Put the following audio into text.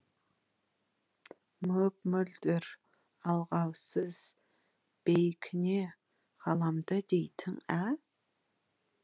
мөп мөлдір алғаусыз бейкүне ғаламды дейтін ә